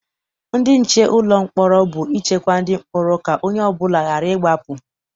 Ndị nche ụlọ mkpọrọ bụ ichekwa ndị mkpọrọ ka onye ọbụla ghara ịgbapụ.